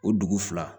O dugu fila